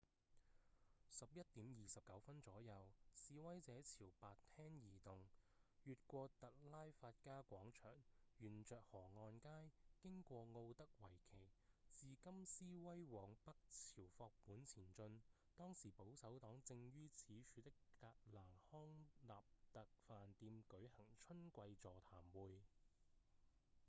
11:29 左右示威者朝白廳移動越過特拉法加廣場沿著河岸街經過奧德維奇自金斯威往北朝霍本前進當時保守黨正於此處的格蘭康納特飯店舉行春季座談會